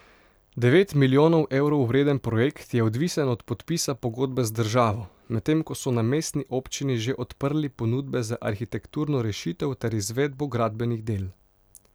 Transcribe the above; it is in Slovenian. Devet milijonov evrov vreden projekt je odvisen od podpisa pogodbe z državo, medtem ko so na mestni občini že odprli ponudbe za arhitekturno rešitev ter izvedbo gradbenih del.